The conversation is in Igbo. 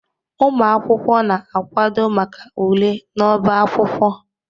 Ụmụ akwụkwọ na-akwado maka ule n'ọbá akwụkwọ